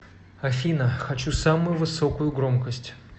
афина хочу самую высокую громкость